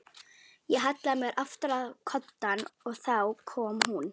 Ég hallaði mér aftur á koddann og þá kom hún.